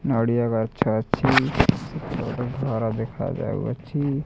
ନଡ଼ିଆ ଗଛ ଅଛି ଏଇଟା ଗୋଟେ ଘର ଦେଖାଯାଉ ଅଛି।